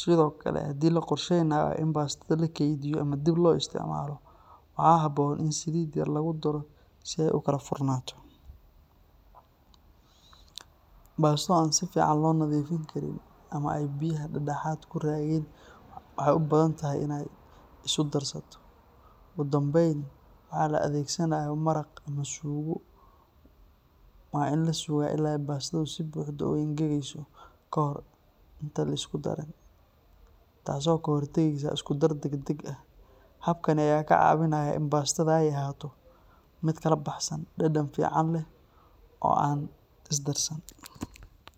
Sidoo kale, haddii la qorsheynayo in bastada la keydiyo ama dib loo isticmaalo, waxaa habboon in saliid yar lagu daro si ay u kala furnaato. Basto aan si fiican loo nadiifin karin ama ay biyaha dhexdeeda ku raageen waxay u badan tahay inay isu darsato. Ugu dambayn, marka la adeegsanayo maraq ama suugo, waa in la sugaa ilaa bastadu si buuxda u engegayso ka hor inta aan la isku darin, taasoo ka hortagaysa isku darsan degdeg ah. Habkaan ayaa kaa caawinaya in bastada ay ahaato mid kala baxsan, dhadhan fiican leh, oo aan isdarsan.